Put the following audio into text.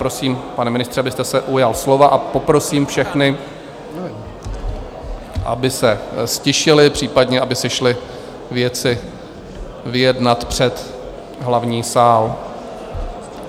Prosím, pane ministře, abyste se ujal slova, a poprosím všechny, aby se ztišili, případně aby si šli věci vyjednat před hlavní sál.